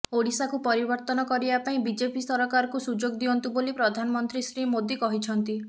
ଓଡିଶାକୁ ପରିବର୍ତନ କରିବା ପାଇଁ ବିଜେପି ସରକାରକୁ ସୁଯୋଗ ଦିଅନ୍ତୁ ବୋଲି ପ୍ରଧାନମନ୍ତ୍ରୀ ଶ୍ରୀ ମୋଦି କହିଛନ୍ତି